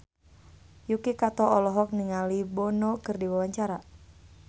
Yuki Kato olohok ningali Bono keur diwawancara